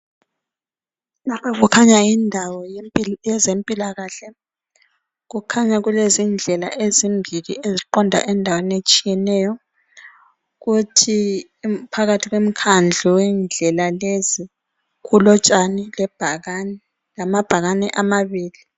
Lapha kukhanya yindawo yezempilakahle. Kukhanya kulezindlela ezimbili eziqonda endaweni etshiyeneyo, kuthi phakathi kwemikhandlo yendlela lezi kulotshani lebhakani lamabhakani amabili.